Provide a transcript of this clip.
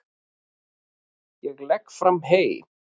Ég legg fram hey.